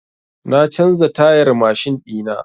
Na canza tayar mashin ɗina.